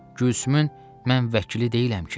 Gülsümün mən vəkili deyiləm ki.